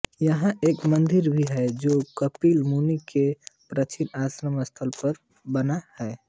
यहाँ एक मंदिर भी है जो कपिल मुनि के प्राचीन आश्रम स्थल पर बना है